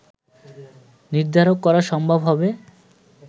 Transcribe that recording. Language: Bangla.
নির্ধারণ করা সম্ভব হবে